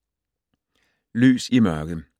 Lys i mørket